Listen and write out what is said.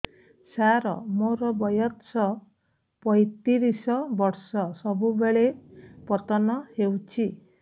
ସାର ମୋର ବୟସ ପୈତିରିଶ ବର୍ଷ ସବୁବେଳେ ପତନ ହେଉଛି